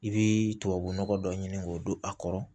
I bɛ tubabunɔgɔ dɔ ɲini k'o don a kɔrɔ